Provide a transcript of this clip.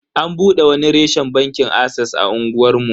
An bude wani reshen bankin ases a unguwar mu.